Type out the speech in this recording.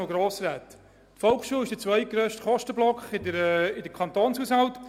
Die Volksschule ist der zweitgrösste Kostenblock im Kantonshaushalt.